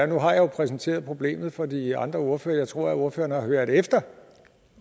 nu har jeg jo præsenteret for de andre ordførere tror at ordføreren har hørt efter